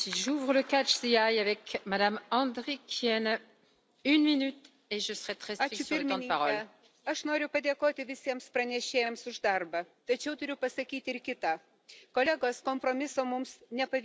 Gerbiama pirmininke, aš noriu padėkoti visiems pranešėjams už darbą. Tačiau turiu pasakyti ir kitą. Kolegos, kompromiso mums nepavyko pasiekti.